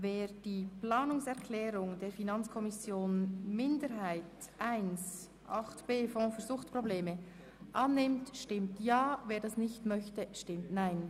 Wer die Planungserklärung 1 der FiKo-Minderheit zum Themenblock 8.b, dem Fonds für Suchtprobleme, annimmt, stimmt Ja, wer dies nicht möchte, stimmt Nein.